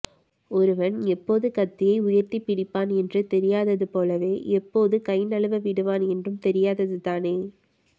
ஒருவன் எப்போது கத்தியை உயர்த்திப்பிடிப்பான் என்று தெரியாதது போலவே எப்போது கைநழுவ விடுவான் என்றும் தெரியாதது தானே